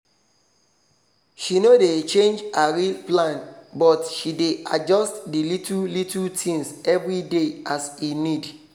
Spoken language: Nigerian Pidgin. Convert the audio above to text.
she no dey change her real plan but she dey adjust the little little things every day as e need